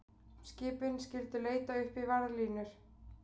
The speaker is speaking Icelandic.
Skipin skyldu leita uppi varðlínur